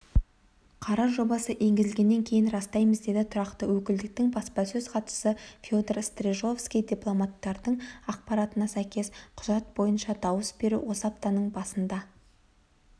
қарар жобасы енгізілгенін растаймыз деді тұрақты өкілдіктің баспасөз хатшысы федор стржижовский дипломаттардың ақпаратына сәйкес құжат бойынша дауыс беру осы аптаның басында